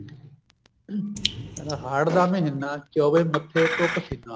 ਕਹਿੰਦਾ ਹਾੜ੍ਹ ਦਾ ਮਹੀਨਾ ਚੋਵੇ ਮੱਥੇ ਤੋਂ ਪਸੀਨਾ